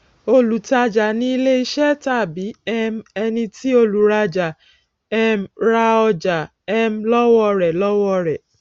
olùtájà ni ilẹ ìṣe tàbí um ẹni tí olùrájà um ra ọjà um lọwọ rẹ lọwọ rẹ